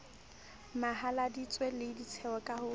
mahaladitwe le ditshehlo ka ho